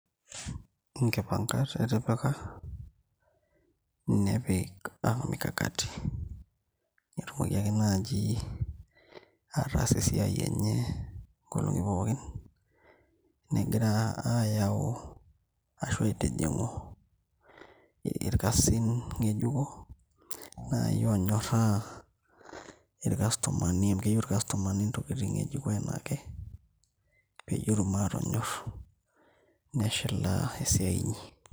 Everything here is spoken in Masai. Inkimpankat etipika nepik mikakati netumoki ake naaji ataas esiai enye nkolong'i pookin enegira ayau ashu aitijing'u irkasin ng'ejuko naaji onyorraa irkastomani amu keyieu irkastomani intokiting e jiko einake peyie etum atonyorr neshilaa esiai inyi.